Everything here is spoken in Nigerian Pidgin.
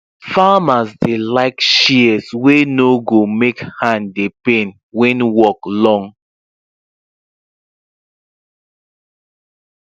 farmers dey like light shears wey no go make hand dey pain when work long